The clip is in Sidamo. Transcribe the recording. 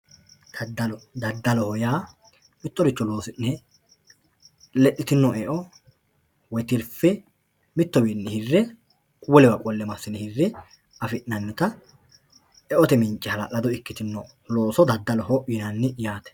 Dadallo, dadalloho yaa miyoricho loosi'nne lexxitino e'o woyi tirife mitowinni hi'rre wolewa qole masine hi'rre afinanita e'ote miincce halallado ikkitinotta dadalloho yinanni yaate.